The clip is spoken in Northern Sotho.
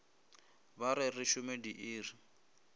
ba re re šome diiri